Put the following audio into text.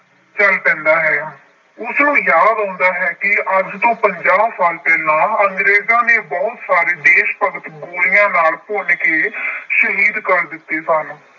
ਚਲ ਪੈਂਦਾ ਹੈ। ਉਸਨੂੰ ਯਾਦ ਆਉਂਦਾ ਹੈ ਕਿ ਅੱਜ ਤੋਂ ਪੰਜਾਹ ਸਾਲ ਪਹਿਲਾ ਅੰਗਰੇਜਾਂ ਨੇ ਬਹੁਤ ਸਾਰੇ ਦੇਸ਼ ਭਗਤ ਗੋਲੀਆਂ ਨਾਲ ਭੁੰਨ ਕੇ ਸ਼ਹੀਦ ਕਰ ਦਿੱਤੇ ਸਨ।